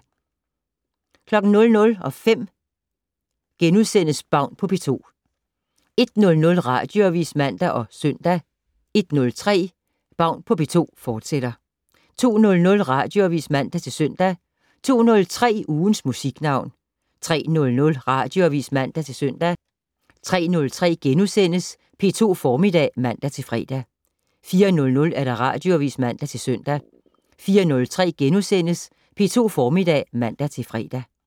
00:05: Baun på P2 * 01:00: Radioavis (man og -søn) 01:03: Baun på P2, fortsat 02:00: Radioavis (man-søn) 02:03: Ugens Musiknavn 03:00: Radioavis (man-søn) 03:03: P2 Formiddag *(man-fre) 04:00: Radioavis (man-søn) 04:03: P2 Formiddag *(man-fre)